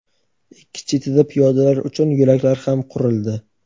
ikki chetida piyodalar uchun yo‘laklar ham qurildi.